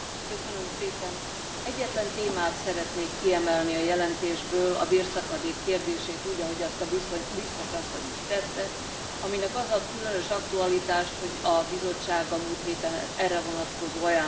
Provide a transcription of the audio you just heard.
Egyetlen témát szeretnék kiemelni a jelentésből, a bérszakadék kérdését, úgy, ahogy azt a Biztos asszony is tette, aminek az ad különös aktualitást, hogy a Bizottság a múlt héten erre vonatkozó ajánlásokat fogadott el.